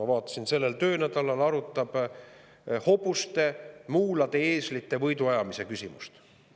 Ma vaatasin, sellel töönädalal arutab ta hobuste, muulade ja eeslite võiduajamise küsimust.